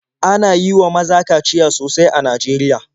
Ana yi wa maza kaciya sosai a Najeriya.